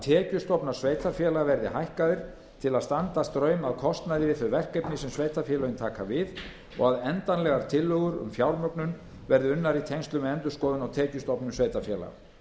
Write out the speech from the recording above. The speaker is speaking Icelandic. tekjustofnar sveitarfélaga verði hækkaðir til að standa straum af kostnaði við þau verkefni sem sveitarfélögin taka við og að endanlegar tillögur um fjármögnun verði unnar í tengslum við endurskoðun á tekjustofnum sveitarfélaga